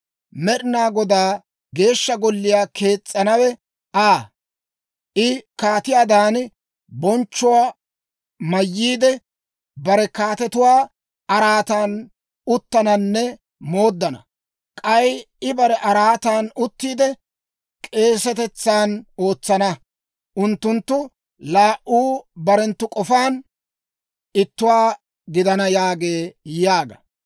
Med'inaa Godaa Geeshsha Golliyaa kees's'anawe Aa; I kaatiyaadan bonchchuwaa mayyiide, bare kaatetuwaa araatan uttananne mooddana. K'ay I bare araataan uttiide k'eesetetsan ootsana; unttunttu laa"u barenttu k'ofaan ittuwaa gidana» yaagee› yaaga.